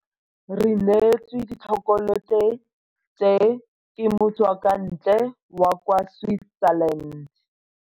Re neetswe ditšhokolete tse, ke motswakwantle wa kwa Switzerland.